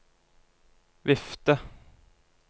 vifte